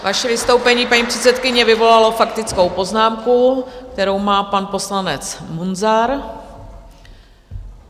Vaše vystoupení, paní předsedkyně, vyvolalo faktickou poznámku, kterou má pan poslanec Munzar.